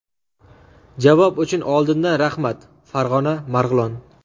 Javob uchun oldindan rahmat.— Farg‘ona, Marg‘ilon.